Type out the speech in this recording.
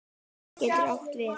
Vaskur getur átt við